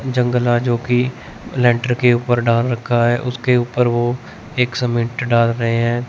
जंगल आजो की लेटर के ऊपर डाल रखा है उसके ऊपर वो एक सीमेंट डाल रहे हैं।